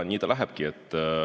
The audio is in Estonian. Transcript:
Nii ta lähebki.